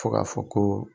Fo ka fɔ ko